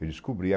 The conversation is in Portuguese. Eu descobri.